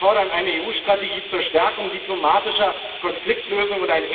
Wir fordern eine EU Strategie zur Stärkung diplomatischer Konfliktlösung.